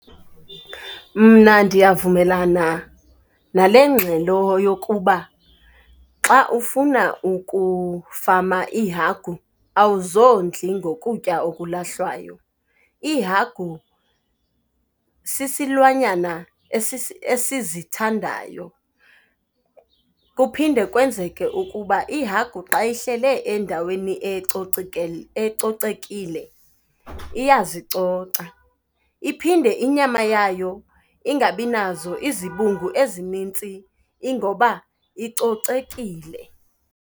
Mna ndiyavumelana nale ngxelo yokuba xa ufuna ukufama iihagu awuzondli ngokutya okulahlwayo. Iihagu sisilwanyana esizithandayo. Kuphinde kwenzeke ukuba ihagu xa ihleli endaweni ecocekile, iyazicoca. Iphinde, inyama yayo ingabinazo izibungu ezinintsi ingoba icocekile.